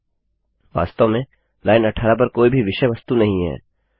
वास्तव में लाइन 18 पर कोई भी विषय वस्तु नहीं है